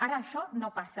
ara això no passa